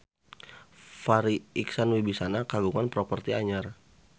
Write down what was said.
Farri Icksan Wibisana kagungan properti anyar